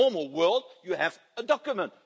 In a normal world, you have a document.